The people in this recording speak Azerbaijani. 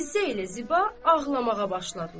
Fizzə ilə Ziba ağlamağa başladılar.